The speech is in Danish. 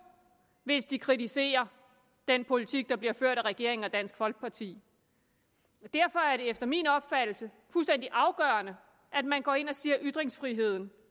hvis de kritiserer den politik der bliver ført af regeringen og dansk folkeparti derfor er det efter min opfattelse fuldstændig afgørende at man går ind og siger at ytringsfriheden